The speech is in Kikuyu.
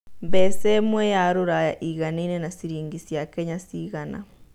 mbeca ĩmwe ya rũraya ĩiganaine na ciringi cia Kenya cigana